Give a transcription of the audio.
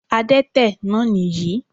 Adẹ́tẹ̀ náà nìyí